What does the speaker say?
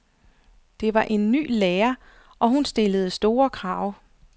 Det var en ny lærer, og hun stillede store krav.